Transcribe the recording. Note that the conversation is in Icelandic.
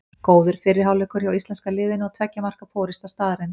Góður fyrri hálfleikur hjá íslenska liðinu og tveggja marka forysta staðreynd.